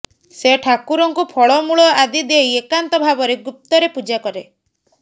ସେ ଠାକୁରଙ୍କୁ ଫଳମୁଳ ଆଦି ଦେଇ ଏକାନ୍ତ ଭାବରେ ଗୁପ୍ତରେ ପୂଜା କରେ